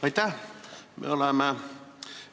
Aitäh!